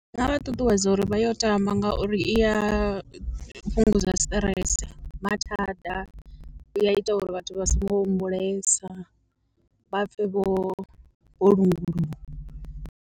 Ndi nga vha ṱuṱuwedza uri vha yo tamba ngauri i ya fhungudza stress mathada, i ya ita uri vhathu vha songo humbulesa vha pfhe vho vho lunguluwa.